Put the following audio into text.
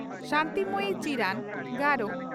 Shanti Moyi Chiran (ᱜᱟᱨᱚ)